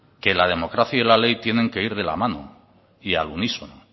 que la democracia y la ley tienen que ir de la mano y al unísono